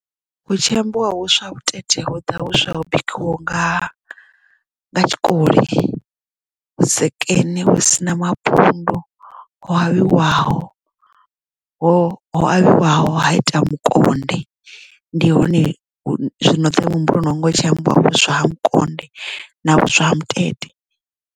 Hu tshi ambiwa vhuswa vhutete hu ḓa vhuswa ho bikiwaho nga tshikoli vhusekene hu sina mapundu ho avhiwaho ho avhiwaho ha ita mukonde ndi hone zwino ḓa muhumbuloni wanga hu tshi ambiwa vhuswa ha makonde na vhuswa ha mutete.